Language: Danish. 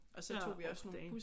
Ja. Oh damn